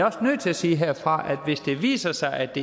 også nødt til at sige herfra at hvis det viser sig at det